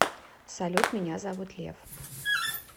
салют меня зовут лев